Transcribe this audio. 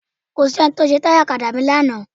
Kò sí ohun tó ṣe táyà ọ̀kadà mi lánàá.